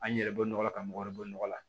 An yɛrɛ bɔ nɔgɔ la ka mɔgɔ wɛrɛ bɔ nɔgɔ la